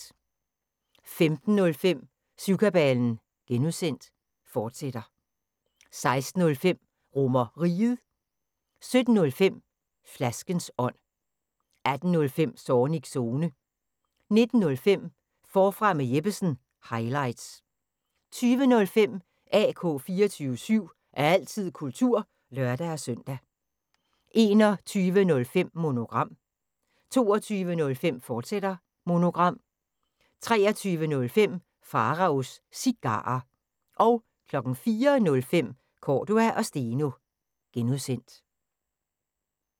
15:05: Syvkabalen (G), fortsat 16:05: RomerRiget 17:05: Flaskens ånd 18:05: Zornigs Zone 19:05: Forfra med Jeppesen – highlights 20:05: AK 24syv – altid kultur (lør-søn) 21:05: Monogram 22:05: Monogram, fortsat 23:05: Pharaos Cigarer 04:05: Cordua & Steno (G)